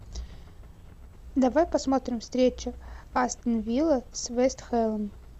давай посмотрим встречу астон вилла с вест хэмом